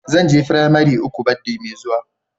Zan je firamari uku baddi Mai zuwa.